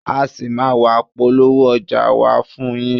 A ṣì máa ń wá polówó ọjà wa fún yín.